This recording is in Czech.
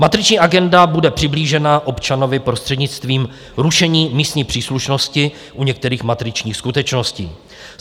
Matriční agenda bude přiblížena občanovi prostřednictvím rušení místní příslušnosti u některých matričních skutečností.